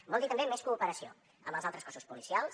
vol dir també més cooperació amb els altres cossos policials